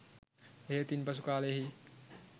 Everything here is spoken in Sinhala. එහෙත් ඉන්පසු කාලයෙහි